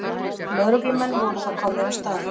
Lögreglumenn voru þá komnir á staðinn